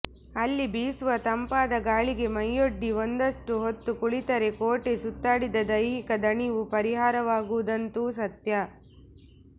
ಅಲ್ಲಿ ಬೀಸುವ ತಂಪಾದ ಗಾಳಿಗೆ ಮೈಯೊಡ್ಡಿ ಒಂದಷ್ಟು ಹೊತ್ತು ಕುಳಿತರೆ ಕೋಟೆ ಸುತ್ತಾಡಿದ ದೈಹಿಕ ದಣಿವು ಪರಿಹಾರವಾಗುವುದಂತೂ ಸತ್ಯ